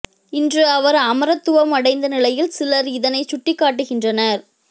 இன்று அவர் அமரத்துவமடைந்த நிலையில் சிலர் இதனை சுட்டிக் காட்டுகின்றனர்